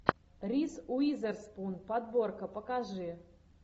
риз уизерспун подборка покажи